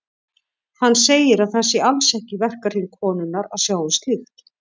Hann segir að það sé alls ekki í verkahring konunnar að sjá um slíkt.